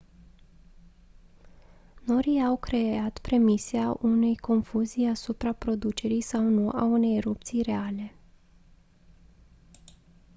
norii au creat premisa unei confuzii asupra producerii sau nu a unei erupții reale